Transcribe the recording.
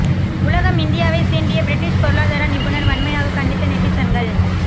உலகம் இந்தியாவை சீண்டிய பிரிட்டிஷ் பொருளாதார நிபுணர் வன்மையாக கண்டித்த நெட்டிசன்கள்